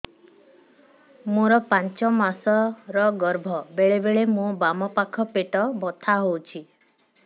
ମୋର ପାଞ୍ଚ ମାସ ର ଗର୍ଭ ବେଳେ ବେଳେ ମୋ ବାମ ପାଖ ପେଟ ବଥା ହଉଛି